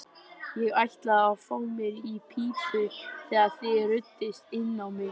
Ég ætlaði að fá mér í pípu þegar þið ruddust inn á mig.